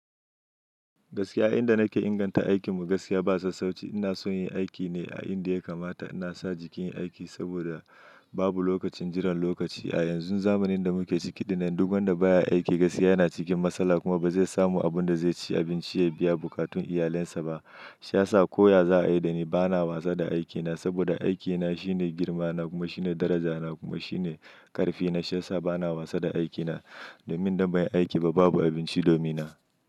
Gaskiya, inda nake inganta aikin mu gaskiya ba sassauci. Ina son yin aiki ne a inda ya kamata. Ina sa jikina aiki saboda babu lokacin jiran lokaci. A yanzun zamanin da muke ciki, dinnan duk wanda baya aiki gaskiya yana cikin matsala kuma ba zai samu abunda zai ci abinci ya biya bukatun iyalinsa ba. Shiya sa koya za a yi da ni bana wasa da aikina saboda aikina shine girmana kuma shine darajana kuma shine karfina. Shiya sa bana wasa da aikina. Domin dan bai aiki ba babu abinci domin na.